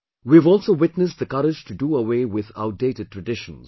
We have also witnessed the courage to do away with outdated traditions